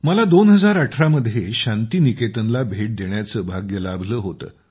मला 2018 मध्ये शांती निकेतनला भेट देण्याचं भाग्य लाभलं होतं